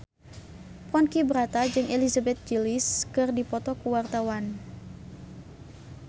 Ponky Brata jeung Elizabeth Gillies keur dipoto ku wartawan